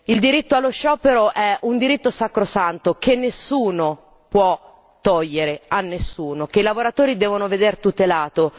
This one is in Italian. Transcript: Il diritto allo sciopero è un diritto sacrosanto che nessuno può togliere a nessuno, che i lavoratori devono vedere tutelato.